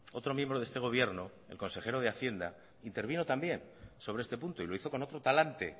otro miembro de este gobierno el consejero de hacienda intervino también sobre este punto y lo hizo con otro talante